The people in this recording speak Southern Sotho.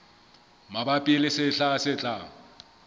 mabapi le sehla se tlang